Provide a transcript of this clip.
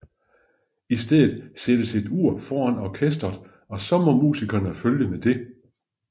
I stedet sættes et ur foran orkesteret og så må musikerne følge med det